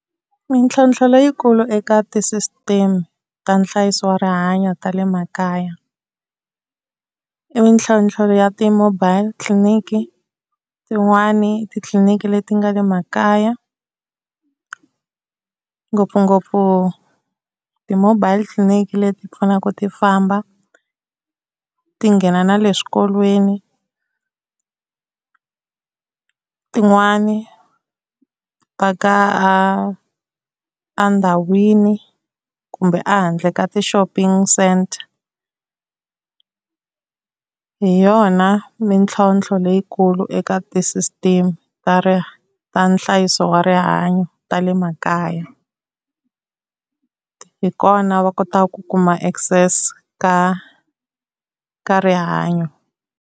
Mintlhontlho leyikulu eka ti-system ta nhlayiso wa rihanyo ta le makaya i mintlhontlho ya ti-mobile clinic, tin'wani titliliniki leti nga le makaya ngopfungopfu ti-mobile clinic leti pfanaka ti famba ti nghena na le swikolweni. Tin'wani ti paka a a ndhawini kumbe a handle ka ti-shopping centre. Hi yona mintlhontlho leyikulu eka ti-system ta ta nhlayiso wa rihanyo ta le makaya. Hikona va kotaku ku kuma access ka ka rihanyo.